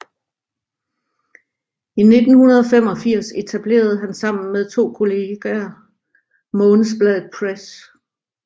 I 1985 etablerede han sammen med to kolleger Månedsbladet Press